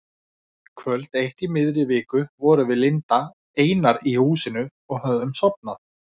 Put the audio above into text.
Kvöld eitt í miðri viku vorum við Linda einar inni í húsinu og höfðum sofnað.